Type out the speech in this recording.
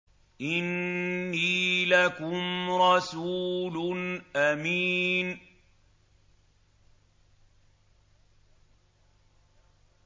إِنِّي لَكُمْ رَسُولٌ أَمِينٌ